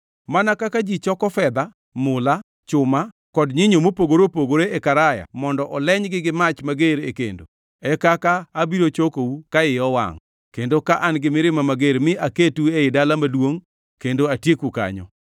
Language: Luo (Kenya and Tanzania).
Mana kaka ji choko fedha, mula, chuma kod nyinyo mopogore opogore e karaya mondo olenygi gi mach mager e kendo, e kaka abiro chokou ka iya owangʼ kendo ka an gi mirima mager mi aketu ei dala maduongʼ kendo atieku kanyo.